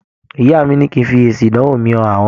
Ìyá mi ní kí n fi èsì ìdánwò mi han àwọn.